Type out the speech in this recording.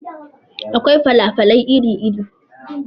Akwai fala falai iri iri.